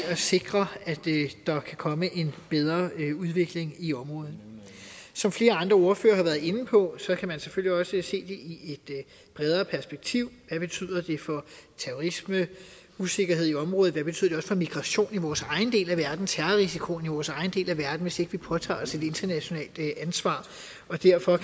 at sikre at der kan komme en bedre udvikling i området som flere andre ordførere har været inde på kan man selvfølgelig også set det i et bredere perspektiv hvad betyder det for terrorisme usikkerhed i området hvad betyder det for migration i vores egen del verden og terrorrisikoen i vores egen del af verden hvis ikke vi påtager os et internationalt ansvar og derfor